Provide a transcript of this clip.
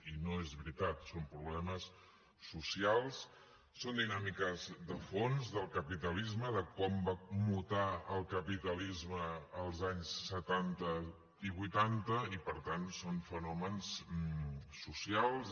i no és veritat són problemes socials són dinàmiques de fons del capitalisme de quan va mutar el capitalisme als anys setanta i vuitanta i per tant són fenòmens socials